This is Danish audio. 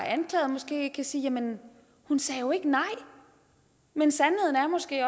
er anklaget måske kan sige jamen hun sagde jo ikke nej men sandheden er måske